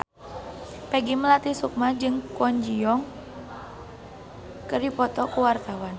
Peggy Melati Sukma jeung Kwon Ji Yong keur dipoto ku wartawan